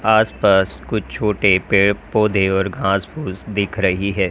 आस पास कुछ छोटे पेड़ पौधे और घास फुस दिख रही है।